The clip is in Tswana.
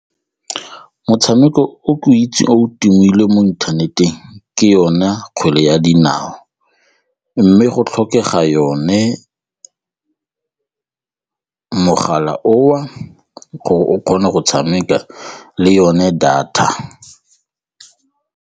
Motshameko o ke o itse o tumile mo inthaneteng ke yone kgwele ya dinao mme go tlhokega yone, mogala oo gore o kgone go tshameka le yone data.